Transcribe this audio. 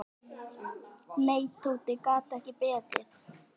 Nei, Tóti gat ekki beðið.